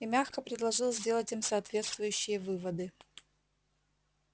и мягко предложил сделать им соответствующие выводы